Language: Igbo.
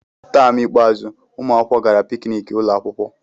Taam ikpeazụ, ụmụ akwụkwọ gara pikniki ụlọ akwụkwọ.